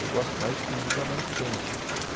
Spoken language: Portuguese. Eu gosto mais de comida mais quente.